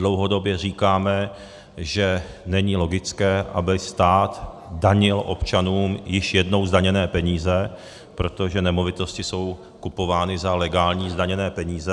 Dlouhodobě říkáme, že není logické, aby stát danil občanům již jednou zdaněné peníze, protože nemovitosti jsou kupovány za legální, zdaněné peníze.